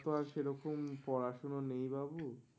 কুড়ি আমার তো আর সেরকম পড়াশোনা নেই বাপু